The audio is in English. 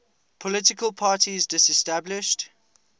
political parties disestablished